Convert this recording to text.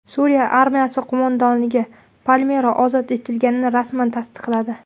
Suriya armiyasi qo‘mondonligi Palmira ozod etilganini rasman tasdiqladi .